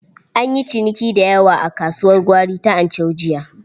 An yi ciniki da yawa a kasuwar gwari ta Anchau jiya.